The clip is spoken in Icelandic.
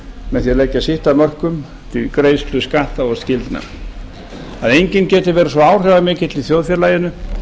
með því að leggja sitt af mörkun í greiðslu skatta og skyldna að enginn geti verið svo áhrifamikill í þjóðfélaginu